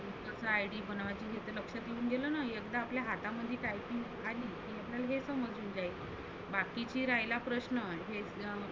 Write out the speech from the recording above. कसं ID बनवायची हे जर लक्ष करुण दिलं ना एकदा आपल्या हातामध्ये typing आली तर हे समजुन जाईल. बाकीचे राहीला प्रश्न हे